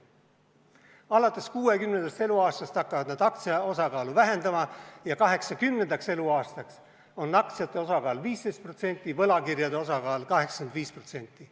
Alates 60. eluaastast hakkavad nad aktsiate osakaalu vähendama ja 80. eluaastaks on aktsiate osakaal 15%, võlakirjade osakaal 85%.